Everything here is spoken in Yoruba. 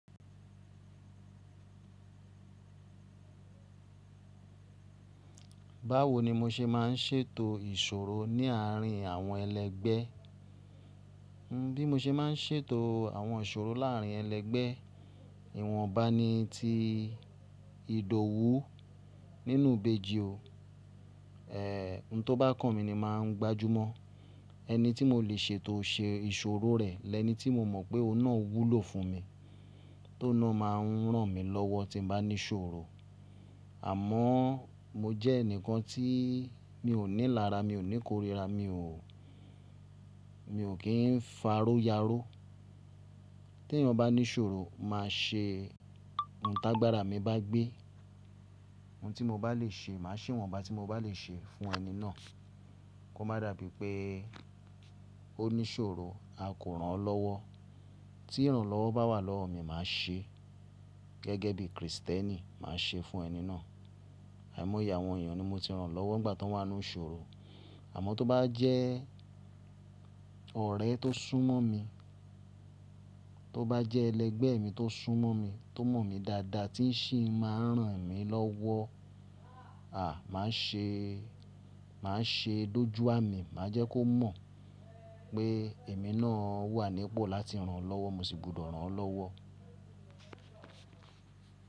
Báwo ni mo ṣe máa ń ṣètò ìṣòro ní àárín àwọn ẹlẹgbẹ́? Bí mo ṣe máa ń ṣètò àwọn ìṣòro láàrín ẹlẹgbẹ́, ìwọ̀nba ni tí ìdòwú nínú ìbejì o. Ẹ̀, ohun tó bá kàn mí ni màá gbájú mọ́. Ẹni tí mo lè ṣètò ṣe ìṣòro rẹ̀ lẹni tí mo mọ̀ pé ọ̀un nà wúlò fún mi, tó náà máa ń ràn mí lọ́wọ́ tí n bá ní ṣòro. Àmọ́ mo jẹ́ ẹnìkan tí mi ò ní lara, mi ò ní korira, mi ò, mi ò kí ń faró yaró. Tí ẹnìkan bá ní ṣòro, màá ṣe ohun t'agbára mi bá gbé. Ohun tí mo bá lè ṣe, màá ṣe ohun tí mo bá lè ṣe fún ẹni náà. Kó má dàbí pé ó ní ṣòro, a kò ran lọ́wọ́. Tí ìrànlọ́wọ́ bá wà lọ́wọ́ mi, màá ṣe gẹ́gẹ́ bí Kristẹni, màá ṣe fún ẹni náà. Àìmọ́ye àwọn ènìyàn ni mo ti ràn lọ́wọ́ nígbà tí wọ́n wà nínú iṣòro. Àmọ́ tó bá jẹ́ ọ̀rẹ́ tó súnmọ́ mi, tó bá jẹ́ ẹlẹgbẹ́ mi tó súnmọ́ mi, tó mọ̀ mí dáadáa tí ń ṣì máa ń ràn mí lọ́wọ́, à, màá ṣe, màá ṣe lójú àmì. Màá jẹ́ kó mọ̀ pé èmi náà wà nípò láti ràn lọ́wọ́, mo sì gbúdọ̀ ràn lọ́wọ́